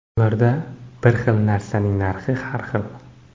Ularda bir xil narsaning narxi har xil.